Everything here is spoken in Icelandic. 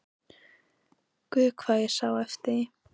Guð hvað ég sá eftir því!